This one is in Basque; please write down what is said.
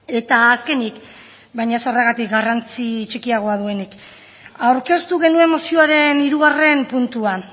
eta azkenik baina ez horregatik garrantzi txikiagoa duenik aurkeztu genuen mozioaren hirugarren puntuan